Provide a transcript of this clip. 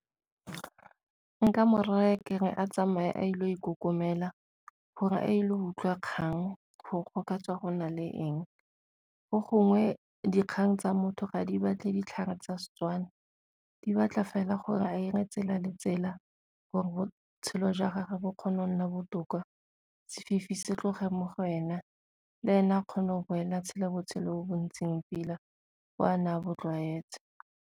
Nka mo raya ke re a tsamaye a ile go ikokomela gore a ile go utlwa dikgang gore go ka tswa go na le eng, go gongwe dikgang tsa motho ga di batle ditlhare tsa Setswana di batla fela gore a 're gore botshelo jwa gage bo kgone go nna botoka sefifi se tloga mo go ena, le ene a kgone go boela tshela botshelo bo bo ntseng pila bo a ne a bo tlwaetswe.